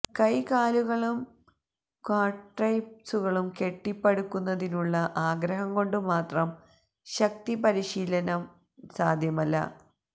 കൈകാലുകളും ക്വാഡ്രൈപ്സുകളും കെട്ടിപ്പടുക്കുന്നതിനുള്ള ആഗ്രഹം കൊണ്ട് മാത്രം ശക്തി പരിശീലനം സാധ്യമല്ല